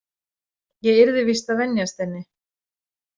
Ég yrði víst að venjast henni.